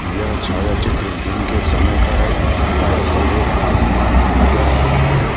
यह छाया चित्र दिन के समय का है ऊपर सफ़ेद आसमान नजर आ रहा है।